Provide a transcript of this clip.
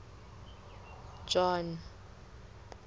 john